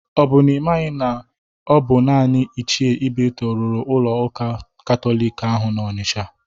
Ọ bụ na ị maghọ na ọ bụ naanị Ichie Ibeto rụrụ ụlọ ụka Katọlik ahụ dị na Ọnisha?